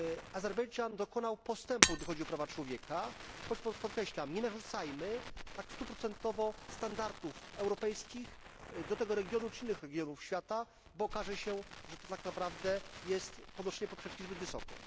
Azerbejdżan dokonał postępu, gdy chodzi o prawa człowieka, choć podkreślam nie narzucajmy tak stuprocentowo standardów europejskich do tego regionu czy innych regionów świata, bo okaże się, że to tak naprawdę jest podnoszenie poprzeczki zbyt wysoko.